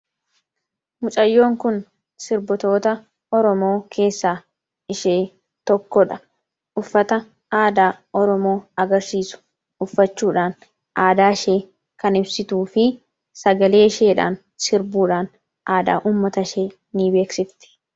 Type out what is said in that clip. Mucayyoon Kun, sirbitoota Oromoo keessaa ishee tokkodha. Uffata aadaa Oromoo agarsiisu uffachuudhaan aadaa ishee kan ibsituu fi sagalee isheedhaan sirbuudhaan aadaa uummata ishee ni beeksisti.